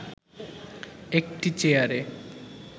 একটি চেয়ারে